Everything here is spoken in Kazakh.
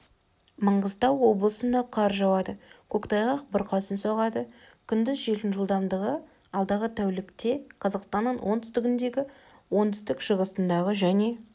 маңғыстау облысында қар жауады көктайғақ бұрқасын соғады күндіз желдің жылдамдығы алдағы тәулікте қазақстанның оңтүстігіндегі оңтүстік-шығысындағы және